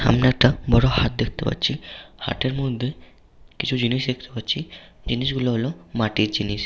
আমরা একটা বড় হাট দেখতে পাচ্ছি । হাটের মধ্যে কিছু জিনিস দেখতে পাচ্ছি । জিনিসগুলো হলো মাটির জিনিস।